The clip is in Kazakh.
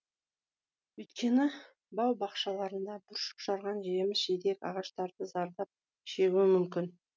өйткені бау бақшаларында бүршік жарған жеміс жидек ағаштары зардап шегуі мүмкін